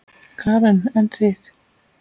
Karen: En þið?